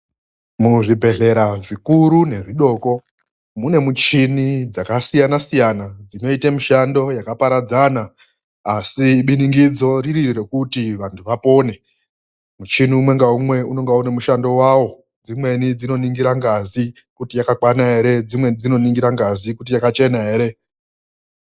Muzvibhedhlera zvikuru nezvidoko mune michini dzasiyana siyana dzinoita mishando yakaparadzana asi biningidzo riri rekuti vanthu vapone. Muchini umwe ngaumwe unenge une mushando wawo. Dzimweni dzinoningira ngazi kuti yakakwana ere, dzimweni dzinoningira ngazi kuti yakachena ere.